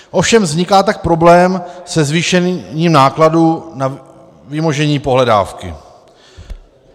Ovšem vzniká tak problém se zvýšením nákladů na vymožení pohledávky.